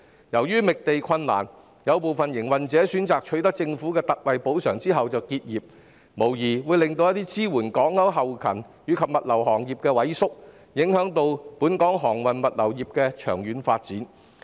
由於覓地困難，有部分營運者選擇取得政府的特惠補償後就結業，無疑令支援港口運作的後勤及物流行業萎縮，影響本港航運物流業的長遠發展。